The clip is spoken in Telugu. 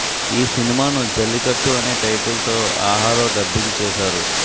ఈ సినిమాను జల్లికట్టు అనే టైటిల్ తో ఆహాలో డబ్బింగ్ చేశారు